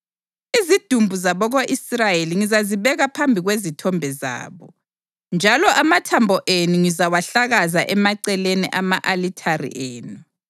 Izidumbu zabako-Israyeli ngizazibeka phambi kwezithombe zabo, njalo amathambo enu ngizawahlakaza emaceleni ama-alithare enu.